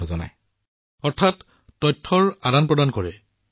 প্ৰধানমন্ত্ৰীঃ ইয়াৰ অৰ্থ হৈছে আপুনি নথিপত্ৰসমূহ স্থানান্তৰ কৰে